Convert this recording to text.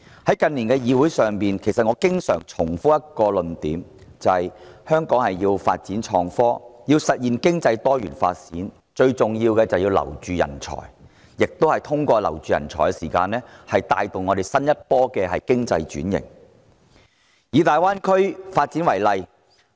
我近年經常在本會重複一個論點，便是香港要發展創新科技，實現經濟多元發展，最重要是挽留人才；香港要進入新一波經濟轉型，亦有賴這些人才帶動。